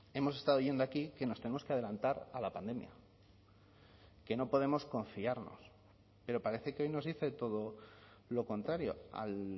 hemos estado oyendo aquí que nos tenemos que adelantar a la pandemia que no podemos confiarnos pero parece que hoy nos dice todo lo contrario al